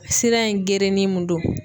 Sira in gereni mun don